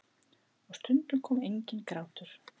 Og stundum kom enginn grátur.